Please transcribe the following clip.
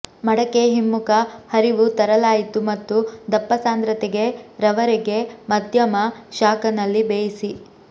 ಮಡಕೆ ಹಿಮ್ಮುಖ ಹರಿವು ತರಲಾಯಿತು ಮತ್ತು ದಪ್ಪ ಸಾಂದ್ರತೆಗೆ ರವರೆಗೆ ಮಧ್ಯಮ ಶಾಖ ನಲ್ಲಿ ಬೇಯಿಸಿ